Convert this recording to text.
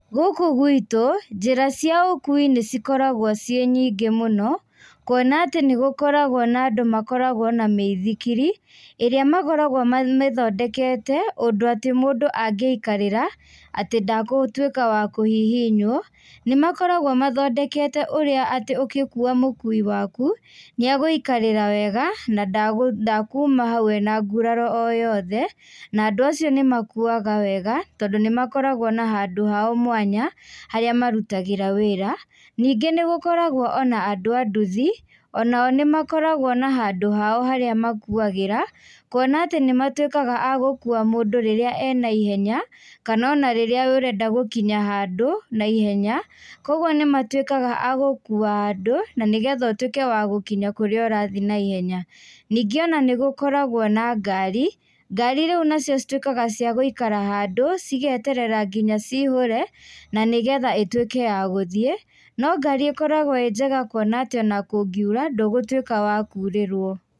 Gũkũ guitũ, njĩra cia ũkui nĩ cikoragwo ciĩ nyĩngĩ mũno kuona atĩ nĩ gũkoragwo na andũ makoragwo na mĩithikiri, ĩrĩa makoragwo mamĩthondkete ũndũ atĩ mũndũ angĩikarĩra atĩ ndagũtuĩka wa kũhihinywo. Nĩ makoragwo mathondekete ũrĩa atĩ ũgĩkua mũkui waku, nĩegũikarĩra wega na ndekuma hau ena nguraro o yothe na andũ acio nĩ makuuaga wega tondũ nĩ makoragwo na handũ hao mwanya harĩa marutagĩra wĩra. Ningĩ nĩ gũkoragwo ona andũ a nduthi, onao nĩmakoragwo na handũ hao harĩa makuuagĩra kuona atĩ macokaga agũkua mũndũ rĩrĩa ena ihenya kana ona rĩrĩa ũrenda gũkinya handũ na ihenya. Kũoguo nĩ matuĩkaga agũkua andũ na nĩgetha ũtuĩke wa gũkinya kũrĩa ũrathiĩ na ihenya. Nyingĩ ona nĩ gũkoragwo na ngari. Ngari nacio cituĩkaga ciagũikara handũ cigeterera ngĩnya cihũre na nĩgetha ĩtuĩke yagũthiĩ, no ngari ĩkoragwo ĩngega kuona atĩ ona kũngiura , ndũgũtuĩka wa kurĩrwo.